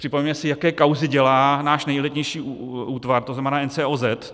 Připomeňme si, jaké kauzy dělá náš nejelitnější útvar, to znamená NCOZ.